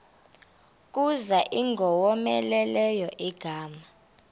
kuza ingowomeleleyo ingalo